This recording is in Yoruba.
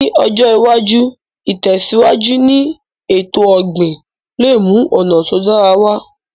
Ní ọjọ́ iwájú, ìtẹ̀síwájú ni èto ọ̀gbìn le mú ọ̀nà to dára wa